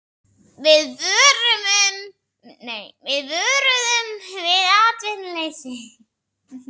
Við vöruðum við atvinnuleysi